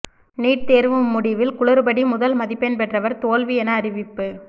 NEET தேர்வு முடிவில் குளறுபடி முதல் மதிப்பெண் பெற்றவர் தோல்வி என அறிவிப்பு